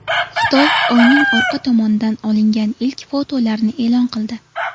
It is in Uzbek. Xitoy Oyning orqa tomonidan olingan ilk fotolarni e’lon qildi.